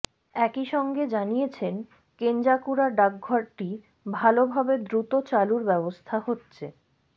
একই সঙ্গে জানিয়েছেন কেঞ্জাকুড়া ডাকঘরটি ভালভাবে দ্রুত চালুর ব্যবস্থা হচ্ছে